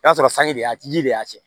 I b'a sɔrɔ sanji de a ji de y'a tiɲɛ